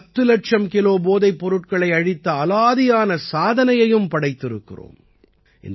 நாம் பத்து இலட்சம் கிலோ போதைப் பொருட்களை அழித்த அலாதியான சாதனையையும் படைத்திருக்கிறோம்